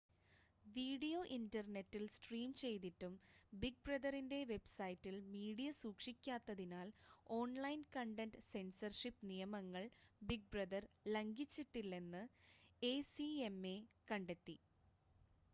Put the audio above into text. video ഇൻ്റർനെറ്റിൽ stream ചെയ്തിട്ടും big ബ്രദറിൻ്റെ വെബ്സൈറ്റിൽ മീഡിയ സൂക്ഷിക്കാത്തതിനാൽ ഓൺലൈൻ കണ്ടൻ്റ് സെൻസർഷിപ് നിയമങ്ങൾ ബിഗ് ബ്രദർ ലംഘിച്ചിട്ടില്ലെന്ന് എസിഎംഎ കണ്ടെത്തി